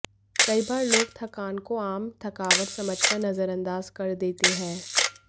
कई बार लोग थकान को आम थकावट समझकर नजरअंदाज कर देते हैं